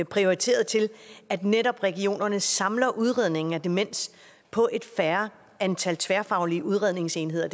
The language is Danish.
prioriteret til at netop regionerne samler udredningen af demens på et færre antal tværfaglige udredningsenheder